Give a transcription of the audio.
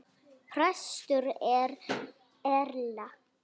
Prestur er Erla.